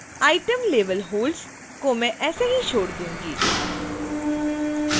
item level holds को मैं ऐसे ही छोड़ दूंगी